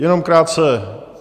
Jenom krátce.